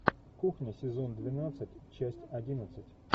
кухня сезон двенадцать часть одиннадцать